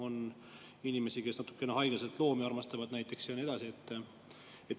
On inimesi, kes natukene haiglaselt näiteks loomi armastavad ja nii edasi.